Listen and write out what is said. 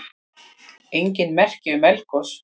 Engin merki um eldgos